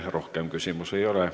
Teile rohkem küsimusi ei ole.